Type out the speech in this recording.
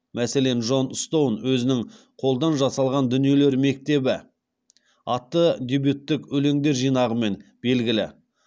мәселен джон стоун өзінің қолдан жасалған дүниелер мектебі атты дебюттік өлеңдер жинағымен белгілі